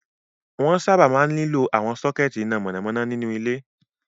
Wọ́n sábà máa ń nílò àwọn sọ́kẹ́tí iná mọ̀nàmọ́ná nínú ilé.